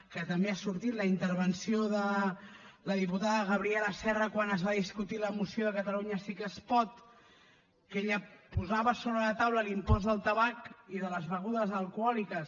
que també ha sortit la intervenció de la diputada gabriela serra quan es va discutir la moció de catalunya sí que es pot en què ella posava sobre la taula l’impost del tabac i de les begudes alcohòliques